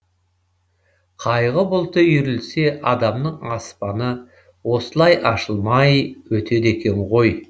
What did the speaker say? қайғы бұлты үйірілсе адамның аспаны осылай ашылмай өтеді екен ғой